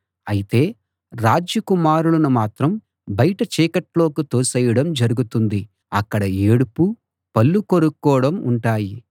అయితే రాజ్య కుమారులను మాత్రం బయట చీకట్లోకి తోసేయడం జరుగుతుంది అక్కడ ఏడుపు పళ్ళు కొరుక్కోవడం ఉంటాయి